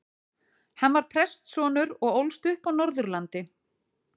Hann var prestssonur og ólst upp á Norðurlandi.